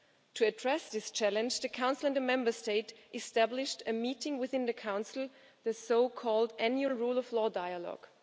To address this challenge, the Council and a Member State established a meeting within the Council, the so called annual rule of law dialogue'.